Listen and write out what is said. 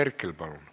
Andres Herkel, palun!